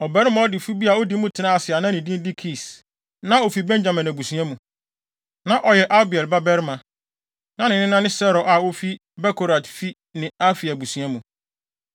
Ɔbarima ɔdefo bi a odi mu tenaa ase a na ne din de Kis na ofi Benyamin abusua mu. Na ɔyɛ Abiel babarima, na ne nena ne Seror a ofi Bekorat fi ne Afia abusua mu.